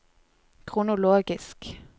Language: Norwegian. kronologisk